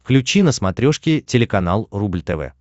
включи на смотрешке телеканал рубль тв